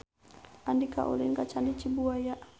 Andika ulin ka Candi Cibuaya